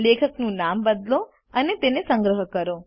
લેખકનું નામ બદલો અને તેને સંગ્રહ કરો